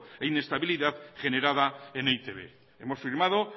e inestabilidad generada en e i te be hemos firmado